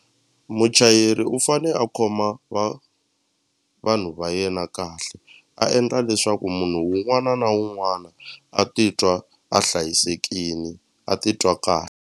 Muchayeri u fane a khoma vanhu va yena kahle a endla leswaku munhu wun'wana na wun'wana a titwa a hlayisekini a titwa .